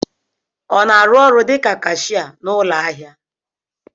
Ọ na-arụ ọrụ dịka kashia n'ụlọ ahịa?